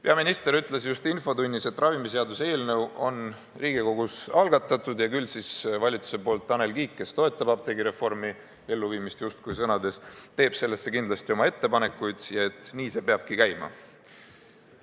Peaminister ütles just infotunnis, et ravimiseaduse eelnõu on Riigikogus algatatud ja küll siis valitsuse poolt Tanel Kiik, kes apteegireformi elluviimist sõnades justkui toetab, teeb selle kohta kindlasti oma ettepanekud, ja et nii see peabki käima.